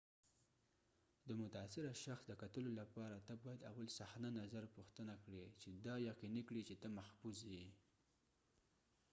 د متاثره شخص د کتلو لپاره ته باید اول صحنه نظر پوښتنه کړي چې دا یقینی کړي چې ته محفوظ یې